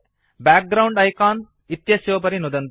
background icon इत्यस्योपरि नुदन्तु